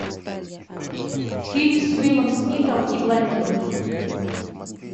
фильм с уиллом смитом и блондинкой